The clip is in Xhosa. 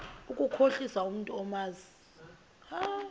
ukukhohlisa umntu omazi